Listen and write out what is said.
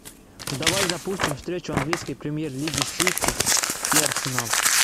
давай запустим встречу английской премьер лиги сити и арсенал